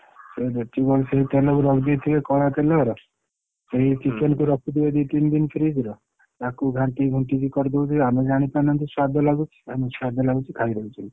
ସେ ଯେତିକି ଅଛି ସେଇ ତେଲକୁ ରଖିଦେଇଥିବେ କଳା ତେଲଅରା ସେଇ chicken କୁ ରଖିଥିବେ ଦି ତିନି ଦିନ fridge ର ତାକୁ ଘାଣ୍ଟି ଘୁଣଟି କି କରିଦଉଛନ୍ତି ଆମେ ଜାଣିପାରୁନାହାନ୍ତି ସ୍ବାଦ ଲାଗୁଛି ଆମକୁ ସ୍ବାଦ ଲାଗୁଛି ଖାଇଦଉଛେ।